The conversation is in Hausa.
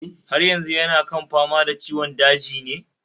Haryazu yana kan fama da ciwon dajin ne?